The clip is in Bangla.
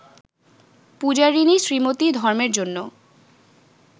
পূজারিণী শ্রীমতি ধর্মের জন্য